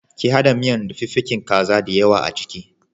Ki haɗa miyan da fiffikin kaza diyawa a ciki.